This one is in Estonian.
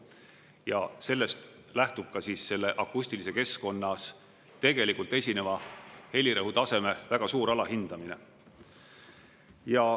Ja sellest lähtub ka selle akustilises keskkonnas tegelikult esineva helirõhutaseme väga suur alahindamine.